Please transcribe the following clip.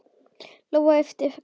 Lóa yppti öxlum.